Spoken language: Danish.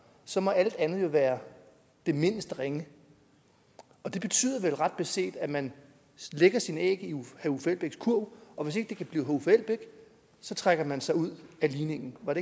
så må alt andet jo være det mindste ringe det betyder vel ret beset at man lægger sine æg i herre uffe elbæks kurv og hvis ikke det kan blive herre uffe elbæk så trækker man sig ud af ligningen var